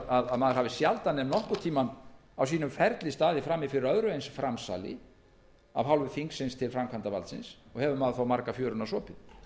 að maður hafi sjaldan ef nokkurn tímann á sínum ferli staðið frammi fyrir öðru eins framsali af hálfu þingsins til framkvæmdarvaldsins og hefur maður þó marga fjöruna sopið